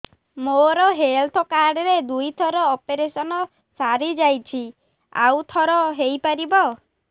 ମୋର health card ରେ ଦୁଇ ଥର ଅପେରସନ ସାରି ଯାଇଛି ଆଉ ଥର ହେଇପାରିବ